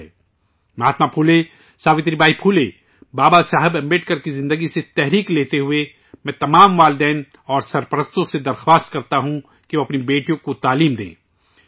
مہاتما پھولے، ساوتری بائی پھولے، بابا صاحب امبیڈکر کی زندگی سے تحریک لیتے ہوئے، میں تمام والدین اور سرپرستوں سے درخواست کرتا ہوں کہ وہ اپنی بیٹیوں کو تعلیم ضرور دلائیں